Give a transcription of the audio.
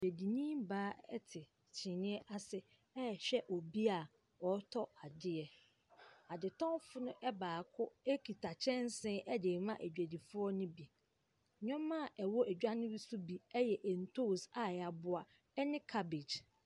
Odwadini baa te kyiniiɛ ase rehwɛ obi a ɔretɔ adeɛ. Adetɔnfo no baako kita kyɛnse de rema adwadifoɔ no bi. Nneɛma a ɛwɔ dwa no so bi yɛ ntoosi a wɔaboa ne cabbage.